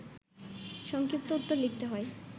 সংক্ষিপ্ত উত্তর লিখতে হয়